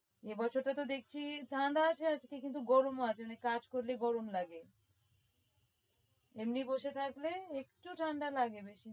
এ বছর টাতো দেখছি ঠান্ডা আছে কিন্তু গরমও আছে মানে কাজ করলেই গরম লাগে এমনি বসে থাকলে একটু ঠান্ডা লাগে বেশিনা।